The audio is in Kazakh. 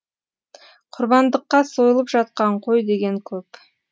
құрбандыққа сойылып жатқан қой деген көп